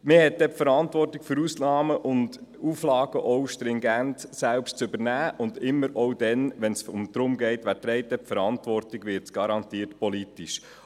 Man hat dann die Verantwortung für Ausnahmen und Auflagen selbst zu übernehmen, und immer dann, wenn es darum geht, wer die Verantwortung trägt, wird es garantiert politisch.